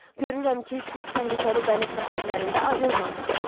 Görürəm ki, siz təhlükəli dəniz səfərlərində az olmamısınız.